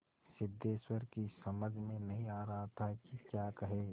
सिद्धेश्वर की समझ में नहीं आ रहा था कि क्या कहे